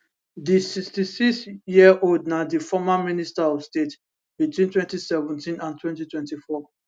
di 66 yearold na di former minister of state between 2017 and 2024